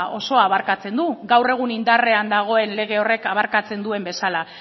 abarkatzen du gaur egun indarrean dagoen lege horrek abarkatzen duen bezala